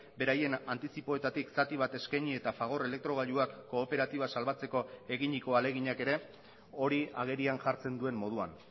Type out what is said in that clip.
beraien antizipoetatik zati bat eskaini eta fagor elektrogailuak kooperatiba salbatzeko eginiko ahaleginak ere hori agerian jartzen duen moduan